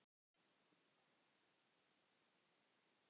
Stundum var orsökin þekkt.